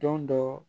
Don dɔ